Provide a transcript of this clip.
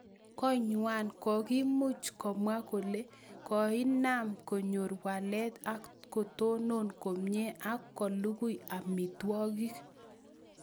koinywan kogiimuch komwa kole koinam konyor walet ak kotonon komye ak kolugui amitwokik